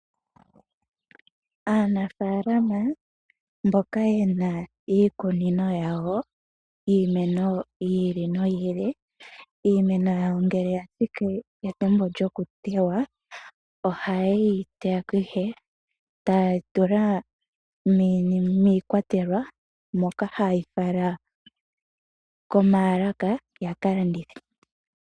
Aanafaalama mboka yena iikunino yawo yiimeno yi ili noyi ili, iimeno yawo ngele ya thiki pethimbo lyo kutewa ,oha yeyi teya, etaya tula niikwatelwa, moka haye yi fala komaalaka, yaka landithe.